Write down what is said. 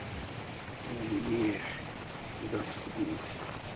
у е дас из гуд